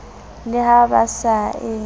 le ha ba sa e